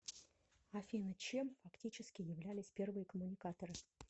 афина чем фактически являлись первые коммуникаторы